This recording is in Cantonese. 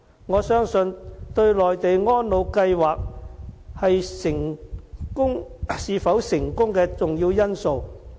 我相信是內地安老計劃是否成功的重要因素。